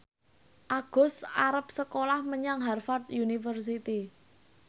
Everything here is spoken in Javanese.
Agus arep sekolah menyang Harvard university